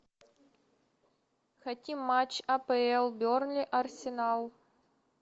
хотим матч апл бернли арсенал